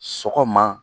Sɔgɔma